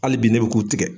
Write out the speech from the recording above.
Hali bi ne bɛ k'u tigɛ